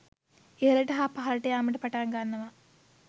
ඉහළට හා පහළට යාමට පටන් ගන්නවා